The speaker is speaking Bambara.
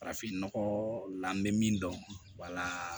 Farafin nɔgɔ la n bɛ min dɔn